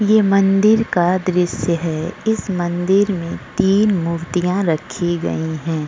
ये मंदिर का दृश्य है इस मंदिर में तीन मूर्तियां रखी गई है।